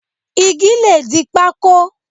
Igi le di pákó.